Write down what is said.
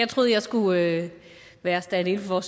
skulle være være standin for